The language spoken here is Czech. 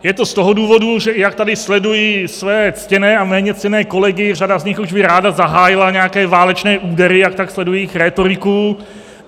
Je to z toho důvodu, že i jak tady sleduji své ctěné a méně ctěné kolegy, řada z nich už by ráda zahájila nějaké válečné údery, jak tak sleduji jejich rétoriku.